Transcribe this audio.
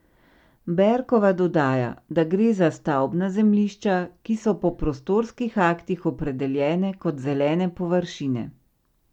Berkova dodaja, da gre za stavbna zemljišča, ki so po prostorskih aktih opredeljene kot zelene površine.